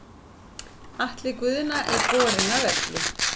Atli Guðna er borinn af velli.